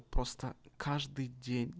просто каждый день